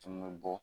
Tun bɛ bɔ